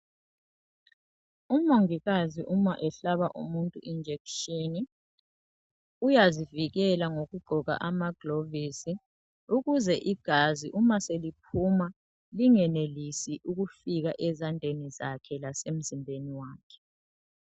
Umongikazi uma ehlaba umuntu injection uyazivikela ngokugqoka amaglovisi ukuze igazi uma seliphuma lingenelisi ukufika ezandleni zakhe lasemzimbeni wakhe.